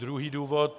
Druhý důvod...